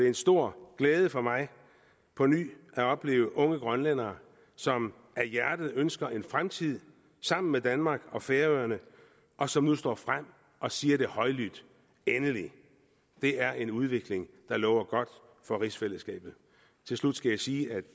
en stor glæde for mig på ny at opleve unge grønlændere som af hjertet ønsker en fremtid sammen med danmark og færøerne og som nu står frem og siger det højlydt endelig det er en udvikling der lover godt for rigsfællesskabet til slut skal jeg sige at